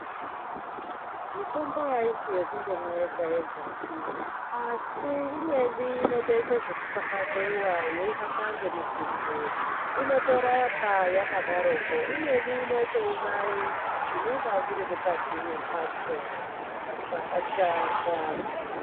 Mitombo aisi yekundomwa yega yegapi, asi imweni inotoite zvekufafazeiwayeihamba ngemitutu. Inotorapa yakadaroko. Imweni inotouraye zvinonga zviri mukati mwemphatso, zvakashata.